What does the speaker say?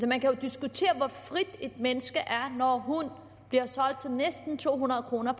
man kan jo diskutere hvor frit et menneske er når hun bliver solgt til næsten to hundrede kroner